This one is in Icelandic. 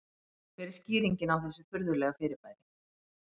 Hver er skýringin á þessu furðulega fyrirbæri?